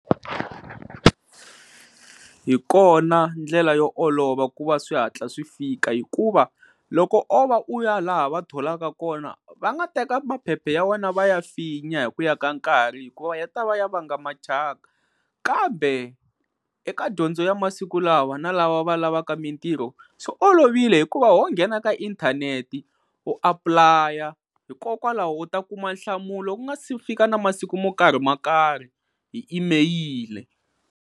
Hi kona ndlela yo olova ku va swi hatla swi fika hikuva loko o va u ya laha va tholaka kona va nga teka maphephe ya wena va ya finya hi ku ya ka nkarhi hikuva ya ta va ya vanga machaka kambe eka dyondzo ya masiku lawa na lava va lavaka mintirho swi olovile hikuva ho nghena ka inthanete u apply-a hikokwalaho u ta kuma nhlamulo ku nga si fika na masiku mo karhi ma karhi hi imeyili.